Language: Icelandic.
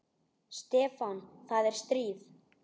Stefán, það er stríð.